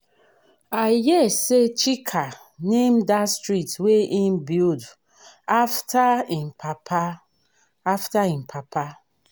i hear say chika name dat street wey he build after im papa after im papa